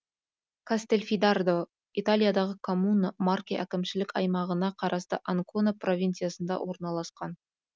кастельфидардо италиядағы коммуна марке әкімшілік аймағына қарасты анкона провинциясында орналасқан